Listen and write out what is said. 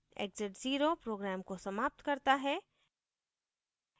exit 0 program को समाप्त करता है